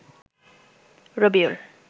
Rabiul